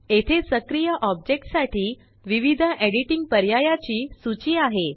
येथे सक्रिय ऑब्जेक्ट साठी विविध एडिटिंग पर्यायाची सूची आहे